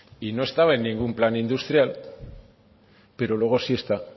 y no estaba en ningún plan industrial pero luego sí está